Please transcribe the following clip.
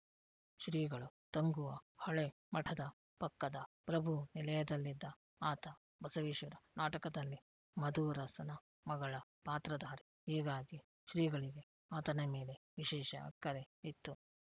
ಶ್ರೀಗಳು ತಂಗುವ ಹಳೆ ಮಠದ ಪಕ್ಕದ ಪ್ರಭುನಿಲಯದಲ್ಲಿದ್ದ ಆತ ಬಸವೇಶ್ವರ ನಾಟಕದಲ್ಲಿ ಮಧುವರಸನ ಮಗಳ ಪಾತ್ರಧಾರಿ ಹೀಗಾಗಿ ಶ್ರೀಗಳಿಗೆ ಆತನ ಮೇಲೆ ವಿಶೇಷ ಅಕ್ಕರೆ ಇತ್ತು